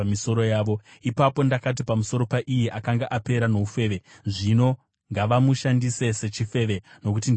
Ipapo ndakati pamusoro paiye akanga apera noufeve, ‘Zvino ngavamushandise sechifeve, nokuti ndizvo zvaari.’